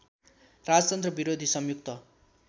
राजतन्त्र विरोधी संयुक्त